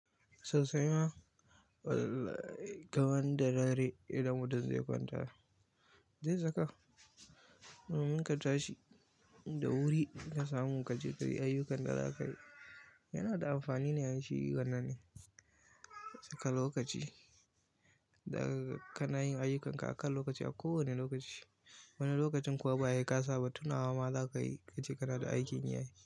Sosaima wall. Kaman da dare idan mutum zai kwanta, zai saka. Domin ka tashi da wuri ka samu ka je ka yi ayyukan da za ka yi, yana da amfani ne ai shi wannan ɗin. Da ka lokaci da kana yin ayyukanka akan lokaci a kowani lokaci. Wani lokacin kuwa ba ye kasa ba, tunawa ma za kayi, ka ce kana da aikin yi ai.